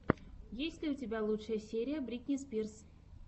есть ли у тебя лучшая серия бритни спирс